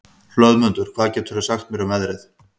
Hlöðmundur, hvað geturðu sagt mér um veðrið?